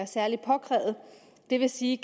særlig påkrævet det vil sige